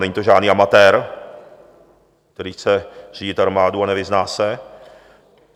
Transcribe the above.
Není to žádný amatér, který chce řídit armádu a nevyzná se.